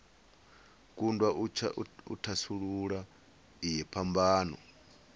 kundwa u thasulula iyi phambano